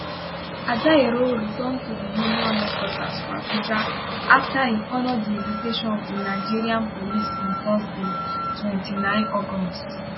ajaero return to di union headquarters for abuja afta im honour di invitation of di nigeria police on thursday 29 august